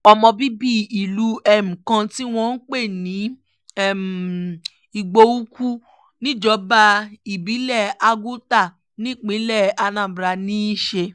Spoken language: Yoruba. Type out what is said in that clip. ọmọ bíbí ìlú um kan tí wọ́n ń pè ní um igboukwu níjọba ìbílẹ̀ àgùtà nípínlẹ̀ anambra ní í ṣe